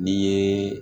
N'i ye